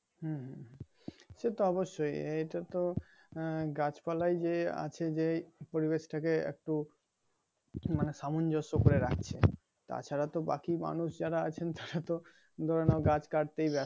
হুম হুম হুম সেইতো অবশ্যই এইটাতো আহ গাছ পালায় যে আছে যেই পরিবেশ টাকে একটু মানে সামঞ্জস্য করে রাখছে তাছাড়া তো বাকি মানুষ যারা আছেন তারা তো ধরে নাও গাছ কাটতেই ব্যস্ত